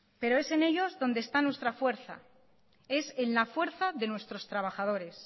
pero es en ellos donde está nuestra fuerza es en la fuerza de nuestros trabajadores